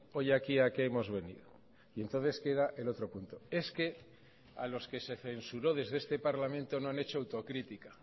hoy aquí a qué hemos venido y entonces queda el otro punto es que a los que se censuró desde este parlamento no han hecho autocrítica